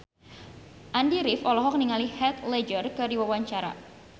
Andy rif olohok ningali Heath Ledger keur diwawancara